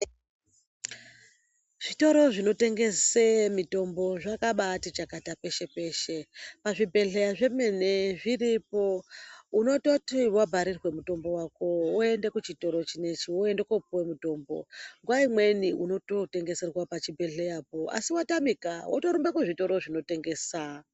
Zvitoro zvinotengese mitombo zvakabatichakata peshe- peshe, pazvibhedhleya zvemene zviripo unototi vabharirwe mutombo wako woende kuchitoro chinechi woende kopiwa mutombo. Nguwa imweni unotoenda kotengeserwa pachibhedhleyapo asi watamika wotorumba kuzvitoro zvinotengesa.